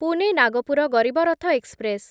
Pune Nagpur Garib Rath express